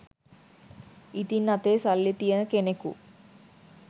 ඉතින් අතේ සල්ලි තියෙන කෙනෙකු